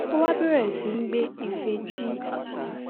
ó wá bèrè sí í gbé ife tí